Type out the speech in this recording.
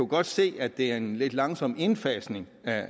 kan se at det er en lidt langsom indfasning af